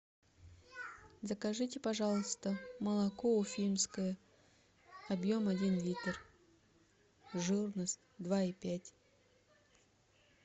закажите пожалуйста молоко уфимское объем один литр жирность два и пять